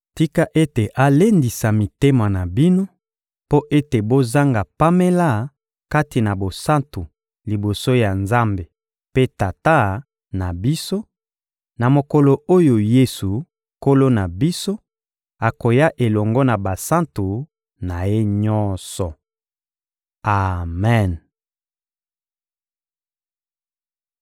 Tika ete alendisa mitema na bino mpo ete bozanga pamela kati na bosantu liboso ya Nzambe mpe Tata na biso, na mokolo oyo Yesu, Nkolo na biso, akoya elongo na basantu na Ye nyonso! Amen!